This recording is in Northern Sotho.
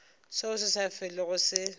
seo se sa felego se